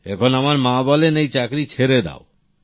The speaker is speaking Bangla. এখন আমার মা বলেন এই চাকরী ছেড়ে দাও